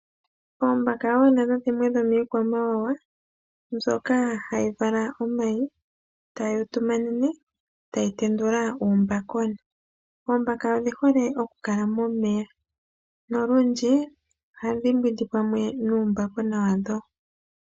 Oombaka wo nadho dhimwe dhomiikwamawawa mbyoka hayi vala omayi, tayi utumanene, tayi tendula uumbakona. Oombaka odhi hole okukala momeya nolundji ohadhi mbwindi pamwe nuumbakona wadho.